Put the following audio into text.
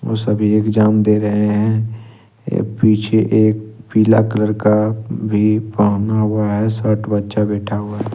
वो सभी एग्जाम दे रहे हैं पीछे एक पीला कलर का भी पहना हुआ है शर्ट बच्चा बैठा हुआ है।